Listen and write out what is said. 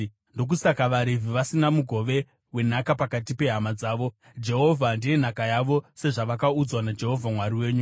Ndokusaka vaRevhi vasina mugove wenhaka pakati pehama dzavo; Jehovha ndiye nhaka yavo sezvavakaudzwa naJehovha Mwari wenyu.)